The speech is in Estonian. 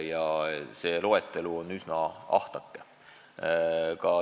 See loetelu on üsna ahtake.